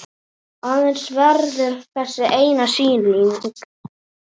Aðeins verður þessi eina sýning.